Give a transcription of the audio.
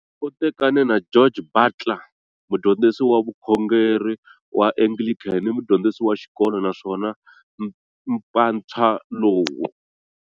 U tekane na George Butler, mudyondzisi wa vukhongeri wa Anglican ni mudyondzisi wa xikolo, naswona mpatswa lowu